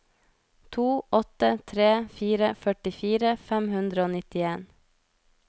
to åtte tre fire førtifire fem hundre og nittien